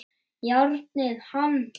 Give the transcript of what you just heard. Járnið hann!